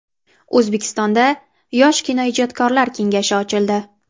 O‘zbekistonda yosh kinoijodkorlar kengashi ochildi.